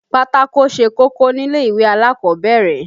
Pátákó ṣe kókó nílè ìwé alákọ̀ọ́bẹ̀rẹ̀